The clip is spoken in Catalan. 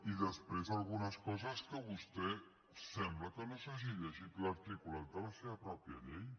i després algunes coses en què vostè sembla que no s’hagi llegit l’articulat de la seva pròpia llei